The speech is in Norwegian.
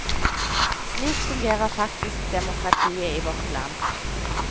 Slik fungerer faktisk demokratiet i vårt land.